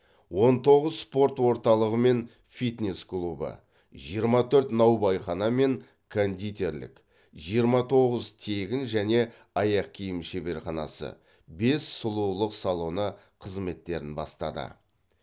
он тоғыз спорт орталығы мен фитнес клубы жиырма төрт наубайхана мен кондитерлік жиырма тоғыз тегін және аяқ киім шебарханасы бес сұлулық салоны қызметтерін бастады